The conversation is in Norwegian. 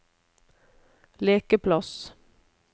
lekeplass